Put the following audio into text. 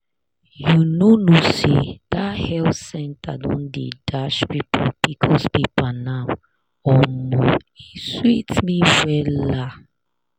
you know know say that health center don dey dash people pcos paper now omo e sweet me wella